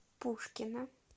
пушкино